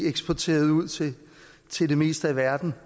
eksporteret ud til til det meste af verden